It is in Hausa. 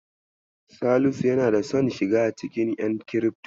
Salisu yana son shiga cikin ƴan kirifto.